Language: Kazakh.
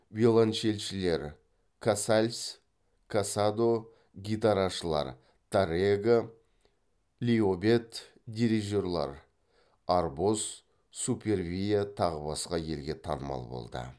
виолончельшілер касальс касадо гитарашылар таррега лиобет дирижерлер арбос супервиа тағы басқа елге танымал болды